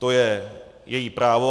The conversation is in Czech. To je její právo.